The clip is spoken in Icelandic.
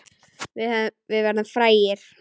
Við verðum frægir.